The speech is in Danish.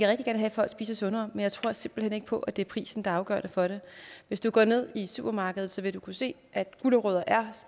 have at folk spiser sundere men jeg tror simpelt hen ikke på at det er prisen der er afgørende for det hvis du går ned i supermarkedet vil du kunne se at gulerødder